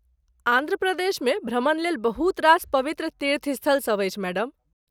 आन्ध्र प्रदेशमे भ्रमणलेल बहुत रास पवित्र तीर्थस्थल सभ अछि, मैडम।